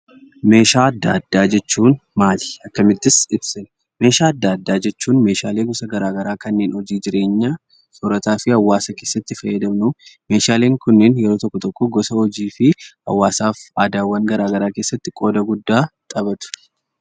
Meeshaa adda addaa jechuun maali? Akkamittis ibsina? Meeshaa adda addaa jechuun meeshaalee gosa garaa garaa kanneen hojii jireenya soorataa fi hawaasa keessatti fayyadamnu. Meeshaaleen kunneen yeroo tokko tokko gosa hojii fi hawaasaaf aadaawwan garaa garaa keesatti qooda guddaa taphatu.